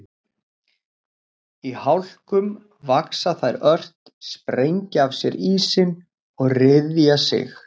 Í hlákum vaxa þær ört, sprengja af sér ísinn og ryðja sig.